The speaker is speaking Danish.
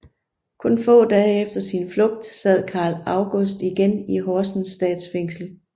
Kun få dage efter sin flugt sad Carl August igen i Horsens Statsfængsel